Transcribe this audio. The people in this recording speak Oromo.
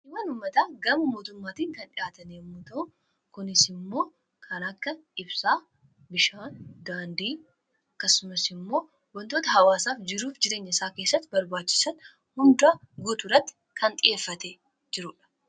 ummataa gama mootummaatiin kan dhihaatan yommu ta'u kunis immoo kanaakka ibsaa bishaan daandii kasumas immoo wantoota hawaasaaf jiruuf jireenya isaa keessatti barbaachisan hundaa guuturatti kan dhi'eeffate jiruudha